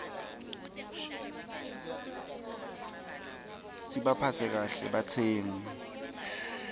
sibaphatse kahle batsengi